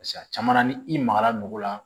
a caman na ni i magara nugu la